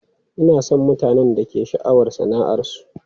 Ina son mutanen da ke da sha'awar sana'arsu.